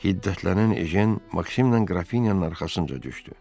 Hiddətlənən Ejen Maksimlə Qrafinyanın arxasınca düşdü.